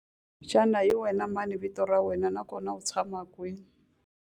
Xana hi wena mani vito ra wena naswona u tshama kwihi?